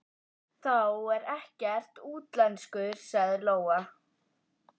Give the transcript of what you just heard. Þá er hann ekkert útlenskur, sagði Lóa Lóa.